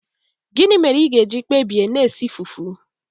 Gịnị mere ị ga-eji kpebie na-esi fufu?